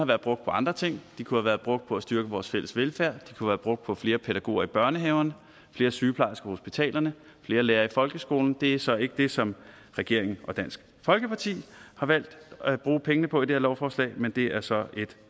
været brugt på andre ting de kunne have været brugt på at styrke vores fælles velfærd de kunne brugt på flere pædagoger i børnehaverne flere sygeplejersker på hospitalerne flere lærere i folkeskolen det er så ikke det som regeringen og dansk folkeparti har valgt at bruge pengene på i det her lovforslag men det er så et